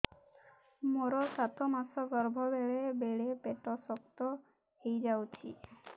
ମୋର ସାତ ମାସ ଗର୍ଭ ବେଳେ ବେଳେ ପେଟ ଶକ୍ତ ହେଇଯାଉଛି